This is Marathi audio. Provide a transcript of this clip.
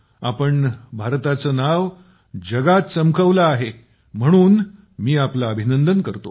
आपण भारताचं नाव जगात चमकवलं आहे म्हणून मी आपलं अभिनंदन करतो